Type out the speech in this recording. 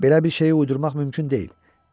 Belə bir şeyi uydurmaq mümkün deyil.